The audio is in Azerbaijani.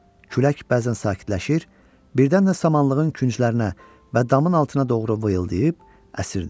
Külək bəzən sakitləşir, birdən də samanlığın künclərinə və damın altına doğru vıyıldayıb əsirdi.